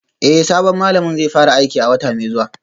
Eh sabon malamin zai fara aiki a wata mai zuwa